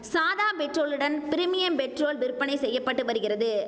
சாதா பெட்ரோலுடன் premium petrol விற்பனை செய்ய பட்டு வருகிறது